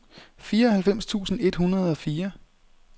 fireoghalvfems tusind et hundrede og fire